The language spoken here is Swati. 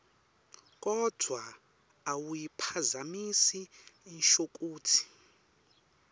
kodvwa awuyiphazamisi inshokutsi